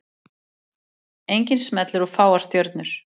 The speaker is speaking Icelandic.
Enginn smellur og fáar stjörnur